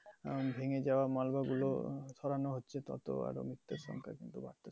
আহ ভেঙ্গে যাওয়া গুলো সরানো হচ্ছে তত আর ও মিত্ত্যুর সংখ্যা